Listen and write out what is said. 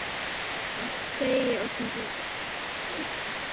Jæja, segi ég og smelli í lás.